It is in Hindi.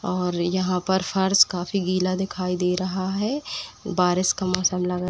और यहाँ पर फर्स काफी गिला दिखाई दे रहा है। बारिश का मौसम लग --